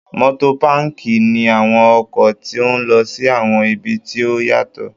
Motopaki ni awọn ọkọ ti o lọ si awọn ibi ti o yatọ